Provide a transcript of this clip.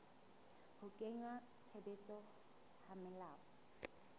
ho kenngwa tshebetsong ha melao